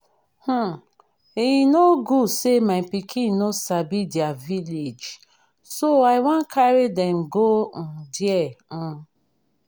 um e no good say my pikin no sabi their village so i wan carry dem go um there um